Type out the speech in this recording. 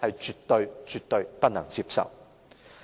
這絕對不能接受。